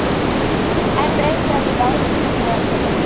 Enn reiknað í ráðuneytinu